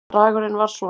Bragurinn var svona